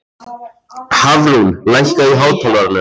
Hafrún, lækkaðu í hátalaranum.